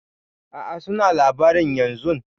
A'a suna labarin yanzun